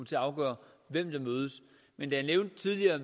til at afgøre hvem der mødes men da jeg tidligere